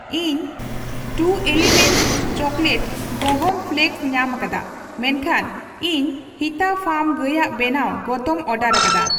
ᱤᱧ True Elements chocolate ᱜᱚᱦᱚᱢ flakes ᱧᱟᱢᱟᱠᱟᱫᱟ ᱢᱮᱱᱠᱷᱟᱱ ᱤᱧ ᱦᱤᱛᱟ ᱯᱷᱟᱨᱢ ᱜᱟᱹᱭᱟᱜ ᱵᱮᱱᱟᱣ ᱜᱚᱛᱚᱢ ᱚᱨᱰᱟᱨᱠᱟᱫᱟ ᱾